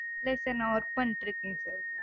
இல்ல sir நா work பண்ணிட்டிருக்கேன் sir.